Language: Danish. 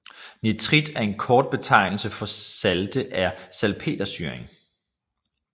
Nitrit er en kort betegnelse for salte af salpetersyrling